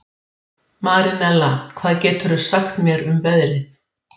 Horfi menn á stóru myndina fyrir ofan sjá þeir neikvæða myndleif sem líkist litlu myndunum.